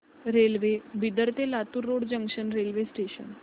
railway Bidar ते Latur road junction railway station